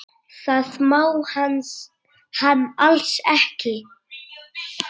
Það má hann alls ekki.